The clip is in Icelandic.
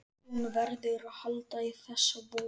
Hún verður að halda í þessa von.